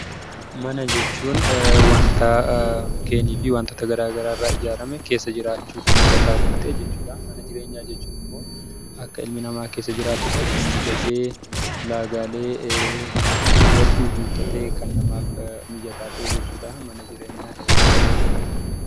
Mana jechuun wantaa mukkeenii fi wantota garaa garaarraa ijaarame keessa jiraachuf mijataa kan ta'e jechuudhaa. Mana jireenyaa jechuun immoo akka ilmi namaa keessa jiraatutti kan mijatee ulaagaalee hedduu guuttatee kan namaaf mijataa ta'e jechuudha. Mana jireenyaa hedduun jaalladha